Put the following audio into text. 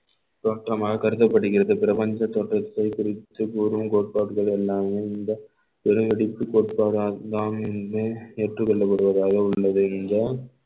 தோற்றமாக கருதப்படுகிறது பிரபஞ்ச தோற்றத்தை குறித்து பெருங்கோட்பாடுகள் எல்லாமே ஏற்றுக்கொள்ளப்படுவதாக உள்ளது இந்த